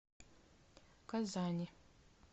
казани